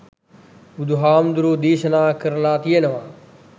බුදුහාමුදුරුවෝ දේශනා කරළා තියෙනවා